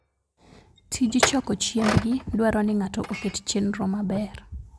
Tij choko chiembgi dwaro ni ng'ato oket chenro maber.